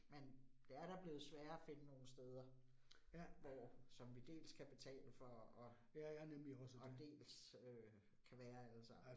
Men det er da blevet sværere finde nogle steder, hvor som vi dels kan betale for og dels kan være allesammen